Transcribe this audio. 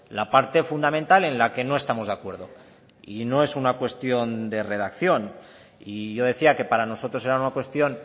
la parte fundamental en la que no estamos de acuerdo y no es una cuestión de redacción y yo decía que para nosotros era una cuestión